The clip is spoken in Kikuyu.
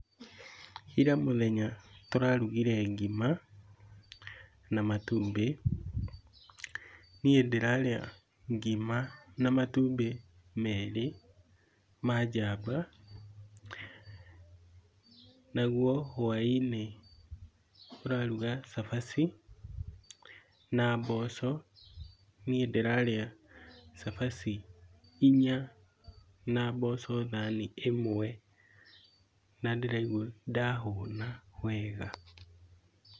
Ira mũthenya tũrarugire ngima na matumbĩ. Niĩ ndĩrarĩa ngima na matumbĩ merĩ ma jamba. Naguo hwaĩ-inĩ tũraruga cabaci na mboco. Niĩ ndĩrarĩa cabaci inya na mboco thani ĩmwe na ndĩraigua ndahũna wega.